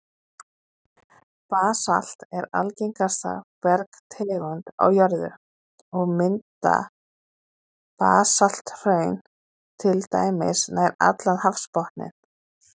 Basalt er algengasta bergtegund á jörðu, og mynda basalthraun til dæmis nær allan hafsbotninn.